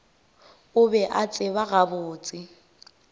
o be a tseba gabotse